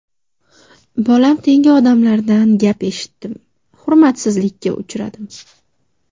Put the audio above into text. Bolam tengi odamlardan gap eshitdim, hurmatsizlikka uchradim.